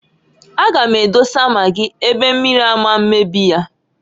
A gam edose magị ebe mmiri ama mmebi ya.